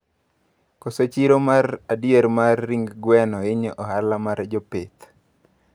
Koso chiro mar adier mar ring gwen hinyo ohala mar jopith